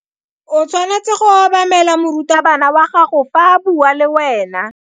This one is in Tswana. O tshwanetse go obamela morutabana wa gago fa a bua le wena.